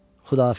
Xudahafiz.